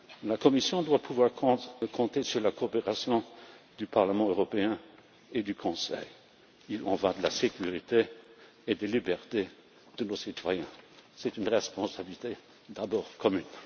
La Commission doit pouvoir compter sur la coopération du Parlement européen et du Conseil. Il en va de la sécurité et des libertés de nos citoyens. C'est une responsabilité d'abord commune.